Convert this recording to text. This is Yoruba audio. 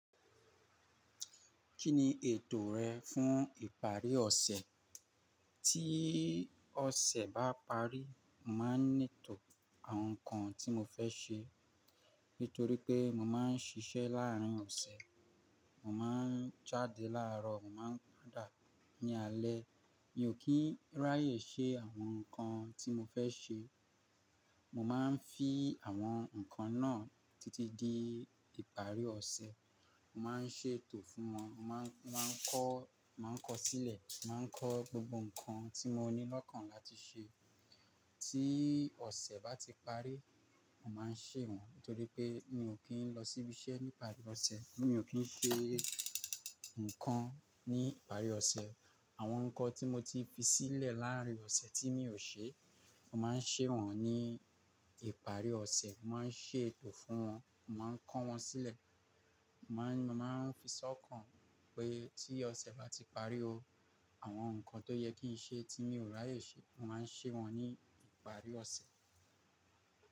Kí ni ètò rẹ fún ìparí ọ̀sẹ̀? Tí ọ̀sẹ̀ bá parí, mo máa ń ńì etò àwọn ǹkan tí mo fẹ́ ṣe. Nítorí pé mo máa ń ṣiṣẹ́ láàrin ọ̀sẹ̀, mo máa ń jáde láàrọ̀, mo máa ń padà ní alẹ́. Mi ò kí ń ráyè ṣe àwọn ǹkan tí mo fẹ́ ṣe. Mo máa ń fi àwọn ǹkan náà títí di ìparí ọ̀sẹ̀. Mo má a ń ṣètò fún wọn, mo máa ń kọ, máa ń kọ sílẹ̀, máa ń kọ gbogbo ǹkan tí mo ní lọ́kàn láti ṣe. Tí ọ̀sẹ̀ bá ti parí, mo má a ń ṣe wọ́n. Nítorí pé mi ò kí ń lọ síbí iṣẹ́ ní ìparí ọ̀sẹ̀, mi ò kí ń ṣe nǹkan ní ìparí ọ̀sẹ̀. Àwọn nǹkan tí mo ti fi sílẹ̀ láàrin ọ̀sẹ̀ tí mi ò ṣe, mo má a ń ṣe wọ́n ní ìparí ọ̀sẹ̀. Mo má a ń ṣètò fún wọn, mo má a ń kọ́ wọn sílẹ̀. Mo má a ń fi sọ́kàn pé tí ọ̀sẹ̀ bá ti parí o, àwọn nǹkan tó yẹ kí n ṣe tí mi ò ráyè ṣe, mo má a ń ṣe wọ́n ní ìparí ọ̀sẹ̀